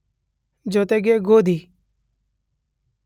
ಜೊತೆಗೆ ಗೋಧಿ